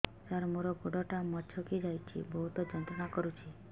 ସାର ମୋର ଗୋଡ ଟା ମଛକି ଯାଇଛି ବହୁତ ଯନ୍ତ୍ରଣା କରୁଛି